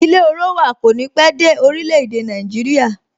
Ilé orowa kò ní pé dé orile-ede Naijiria